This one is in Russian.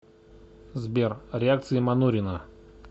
сбер реакции манурина